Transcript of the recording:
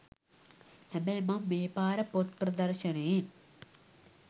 හැබැයි මං මේපාර පොත් ‍ප්‍රදර්ශණයෙන්